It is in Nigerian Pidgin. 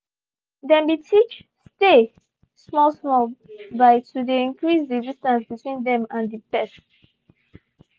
they been teach "stay" small small by to de increase the distance between them and the pet.